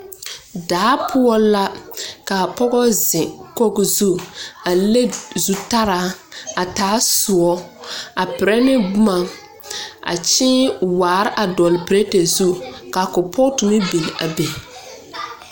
Daa poɔ la, kaa pɔgɔ zeŋkogo zu, a le zutaraa, a taa soɔ, a perɛ ne boma. A kyēē waar a dɔɔl perɛte zuŋ, ka kolpɔɔto meŋ biŋ a be.